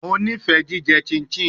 Mo nifẹ jijẹ chinchin